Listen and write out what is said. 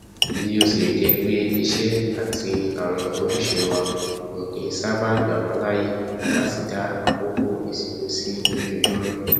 bíótilẹjẹpé iṣẹ àti àwọn ojúṣe wa ò kí nṣábàá gbàwá láàyè láti dá àkókò ìsinmi sí lójoojúmọ